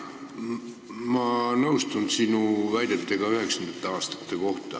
Ma nõustun sinu väidetega 1990. aastate kohta.